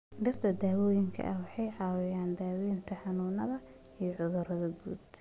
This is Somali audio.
Dhirta daawooyinka ah waxay caawiyaan daaweynta xanuunada iyo cudurrada guud.